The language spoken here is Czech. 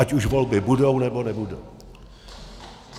Ať už volby budou, nebo nebudou.